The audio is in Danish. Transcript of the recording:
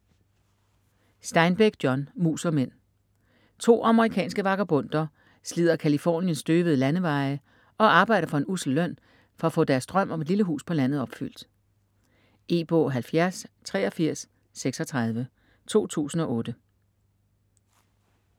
Steinbeck, John: Mus og mænd To amerikanske vagabonder slider Californiens støvede landeveje og arbejder for en ussel løn for at få deres drøm om et lille hus på landet opfyldt. E-bog 708336 2008.